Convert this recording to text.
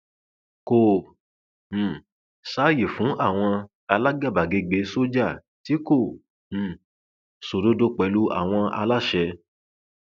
kò um sáàyè fún àwọn alágàbàgebè sójà tí kò um sódodo pẹlú àwọn aláṣẹ